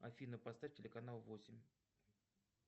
афина поставь телеканал восемь